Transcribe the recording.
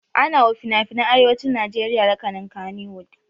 Ana wa finafinan arewacin najeriya lakanin Kannywood